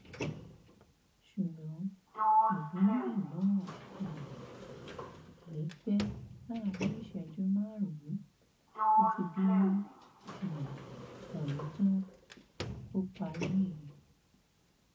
ṣùgbọn ìbínú ẹ náà kì um í pẹ láàrin ìṣẹjú márùnún ó ti bínú um ọhún tán ó parí nìyẹn